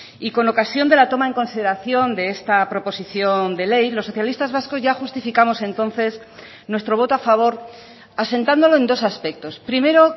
y con ocasión de la toma en consideración de esta proposición de ley los socialistas vascos ya justificamos entonces nuestro voto a favor asentándolo en dos aspectos primero